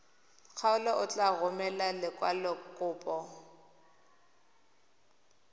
kgaolo o tla romela lekwalokopo